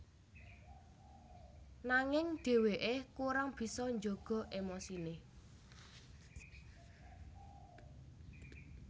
Nanging dheweke kurang bisa jaga emosine